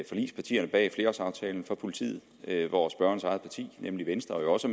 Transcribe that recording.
forligspartierne bag flerårsaftalen for politiet hvor spørgerens eget parti nemlig venstre jo også